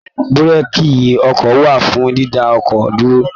Búrèèkì ọkọ̀ wà fún dídá ọkọ̀ dúró